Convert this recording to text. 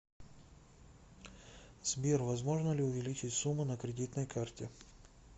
сбер возможно ли увеличить сумму на кредитной карте